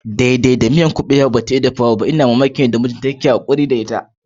Daida miyar kubewa bata iya dafawa ba. ina mamaki yanda mijinta yana hakuri da ita